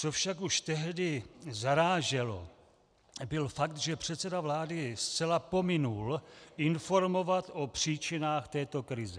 Co však už tehdy zaráželo, byl fakt, že předseda vlády zcela pominul informovat o příčinách této krize.